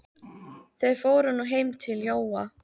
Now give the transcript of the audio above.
Þeir fóru nú heim til Jóa.